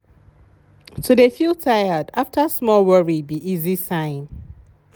to de feel tired after small worry be easy sign.